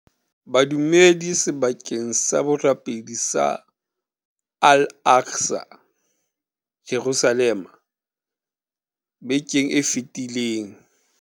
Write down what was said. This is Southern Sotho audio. Badumedi sebakeng sa borapedi sa Al Aqsa, Jerusalema bekeng e fetileng.